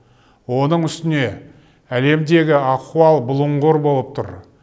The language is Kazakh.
оның үстіне әлемдегі ахуал бұлыңғыр болып тұр